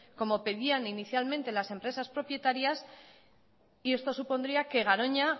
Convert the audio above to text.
como pedían inicialmente las empresas propietarias y esto supondría que garoña